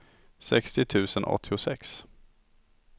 sextio tusen åttiosex